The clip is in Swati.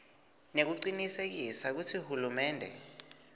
nekucinisekisa kutsi hulumende